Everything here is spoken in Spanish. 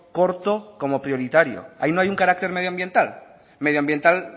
corto como prioritario ahí no hay un carácter medioambiental medioambiental